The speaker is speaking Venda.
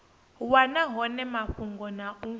wana hone mafhungo na u